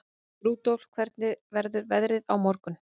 Rudolf, hvernig verður veðrið á morgun?